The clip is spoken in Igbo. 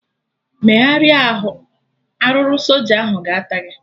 Megharịa arụ! Arụrụ soja ahụ ga-ata gị!